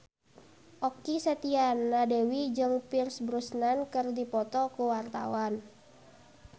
Okky Setiana Dewi jeung Pierce Brosnan keur dipoto ku wartawan